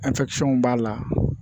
b'a la